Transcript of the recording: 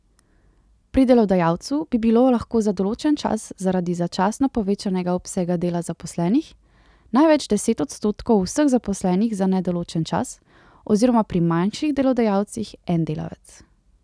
Pri delodajalcu bi bilo lahko za določen čas zaradi začasno povečanega obsega dela zaposlenih največ deset odstotkov vseh zaposlenih za nedoločen čas oziroma pri manjših delodajalcih en delavec.